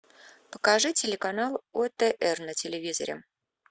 покажи телеканал отр на телевизоре